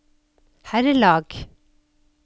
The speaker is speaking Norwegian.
herrelag